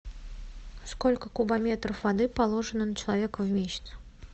сколько кубометров воды положено на человека в месяц